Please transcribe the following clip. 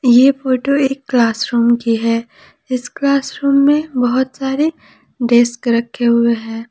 ये फोटो एक क्लासरूम की है इस क्लासरूम में बहुत सारे डेस्क रखे हुए है।